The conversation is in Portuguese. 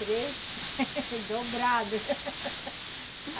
Três dobrados.